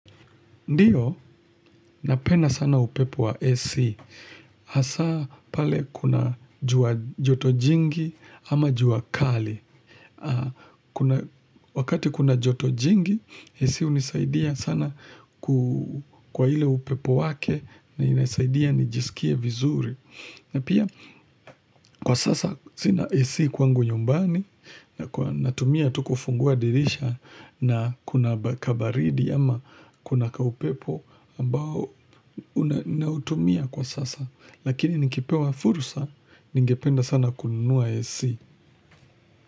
Ndio, napenda sana upepo wa esi. Asa pale kuna joto jingi ama jua kali. Wakati kuna joto jingi, esi unisaidia sana kwa hile upepo wake na inasaidia nijisikie vizuri. Na pia kwa sasa zina esi kwangu nyumbani na tumia tukufungua dirisha na kuna kabaridi ama kuna kaupepo ambao na utumia kwa sasa lakini nikipewa fursa ningependa sana kunua AC.